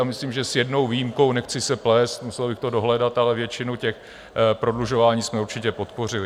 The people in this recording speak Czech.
A myslím, že s jednou výjimkou, nechci se plést, musel bych to dohledat, ale většinu těch prodlužování jsme určitě podpořili.